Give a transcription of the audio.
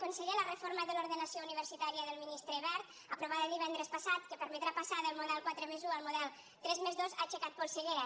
conseller la reforma de l’ordenació universitària del ministre wert aprovada divendres passat que permetrà passar del model quatre+un al model tres+dos ha aixecat polseguera